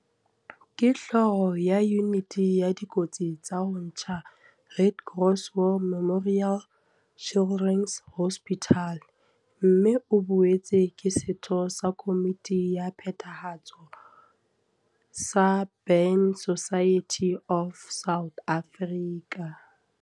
Ke Hlooho ya Yuniti ya Dikotsi tsa ho tjha Red Cross War Memorial Children's Hospital, RCWMCH, mme o boetse ke setho sa komiti ya phethahatso sa Burn Society of South Africa.